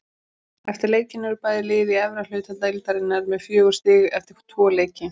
Eftir leikinn eru bæði lið í efri hluta deildarinnar með fjögur stig eftir tvo leiki.